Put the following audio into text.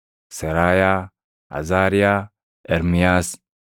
Seraayaa, Azaariyaa, Ermiyaas,